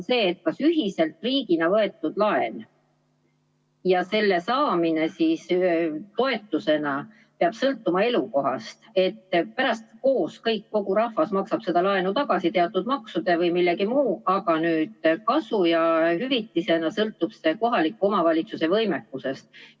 Kas ühiselt riigina võetud laenust toetusena peab sõltuma elukohast, kuigi pärast kogu rahvas koos maksab seda laenu tagasi teatud maksudena või millegi muuna, aga nüüd hüvitis sõltub kohaliku omavalitsuse võimekusest?